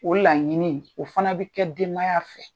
O laɲini o fana bɛ kɛ denbaya fɛ.